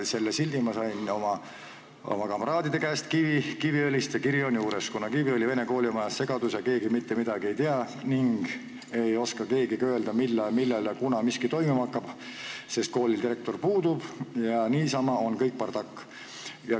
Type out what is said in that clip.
" Selle sildi sain ma oma kamraadide käest Kiviõlist ja juures oli kiri, kus öeldi, et Kiviõli Vene Koolis on segadus, keegi mitte midagi ei tea ning keegi ei oska ka öelda, millal miski toimuma hakkab, sest koolil direktor puudub ja kõik on bardakk.